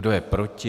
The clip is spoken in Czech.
Kdo je proti?